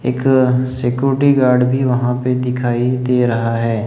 एक security guard भी वहां पे दिखाई दे रहा है।